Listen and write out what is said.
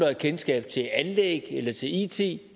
har kendskab til anlægs eller it it